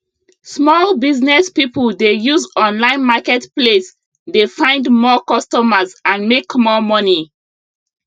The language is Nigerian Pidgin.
small business people dey use online market place dey find more costumers and make more money